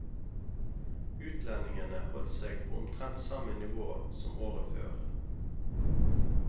Utlendingene holdt seg på omtrent samme nivå som året før.